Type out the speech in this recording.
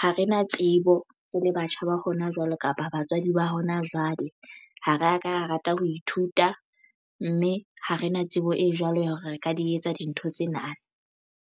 Ha re na tsebo re le batjha ba hona jwale kapa batswadi ba hona jwale ha re ka rata ho ithuta mme ha re na tsebo e jwalo ya hore re ka di etsa dintho tsena.